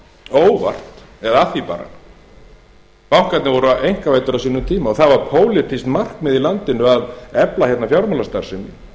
óvart eða af því bara bankarnir voru einkavæddir á sínum tíma og það var pólitískt markmið í landinu að efla hérna fjármálastarfsemi